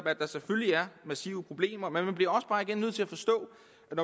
at der selvfølgelig er massive problemer men man bliver også bare igen nødt til at forstå